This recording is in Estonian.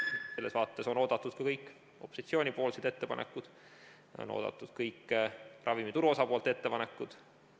Selles vaates on oodatud ka kõik opositsiooni ettepanekud, on oodatud kõik ravimituru osapoolte ettepanekud.